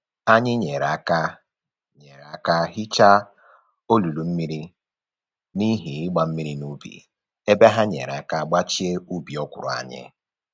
Anyị nyere aka nyere aka hicha olulu mmiri n'ihi ịgba mmiri n'ubi, ebe ha nyere aka gbachie ubi okwụrụ anyị